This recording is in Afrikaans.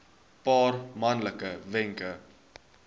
paar maklike wenke